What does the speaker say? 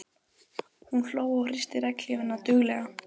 Hún hló og hristi regnhlífina duglega.